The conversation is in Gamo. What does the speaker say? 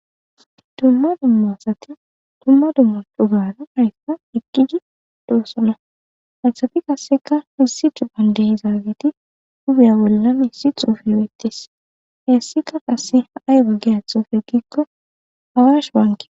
Dumma dummasati dumma dumma dubaana aryfsa eqqidi doossana athati qasseka missi cuupandehi zaagiti gubiya bolla missi xuufe bettis heessika qasse haay gaggeya xuufe giikko hawash waanki